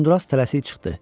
Uzundraz tələsik çıxdı.